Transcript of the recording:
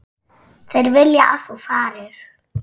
Þeir vilja að þú farir.